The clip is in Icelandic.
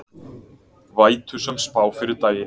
Vætusöm spá fyrir daginn